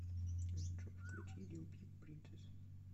джой включи лил пип принцесс